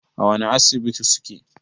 A wani Asibitin suke?